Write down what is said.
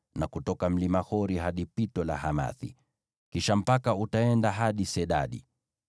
na kutoka mlima Hori hadi Pito la Hamathi. Kisha mpaka utaenda hadi Sedadi,